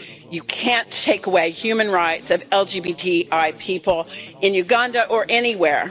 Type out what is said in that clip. You can't take away human rights of LGBTI people in Uganda or anywhere.